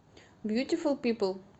бьютифул пипл